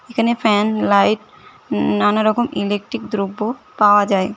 এখানে fan light নানা রকম ইলেকট্রিক দ্রব্য পাওয়া যায়।